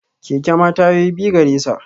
Keke ma tayoyi biyu garesa